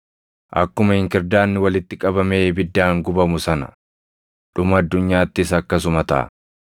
“Akkuma inkirdaadni walitti qabamee ibiddaan gubamu sana, dhuma addunyaattis akkasuma taʼa.